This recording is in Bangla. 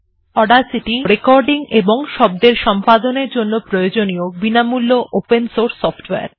Audacity® রেকর্ডিং এবং শব্দের সম্পাদনের জন্য প্রয়োজনীয় বিনামূল্য ওপেন সোর্স সফটওয়্যার